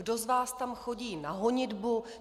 Kdo z vás tam chodí na honitbu?